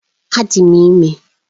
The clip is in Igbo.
Adị m ime